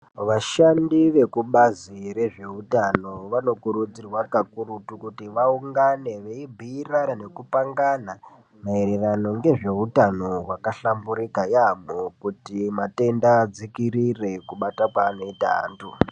Vashandi vekubazi rezveutano vanokurudzirwa kakurutu kuti vaungane veibhiirana nekupangana maererano ngezveutano hwakahlamburika yaamho kuti matenda adzikirire kubata kwaanoita antu.